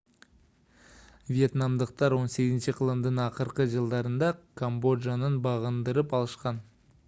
вьетнамдыктар 18-кылымдын акыркы жылдарында камбоджаны багындырып алышкан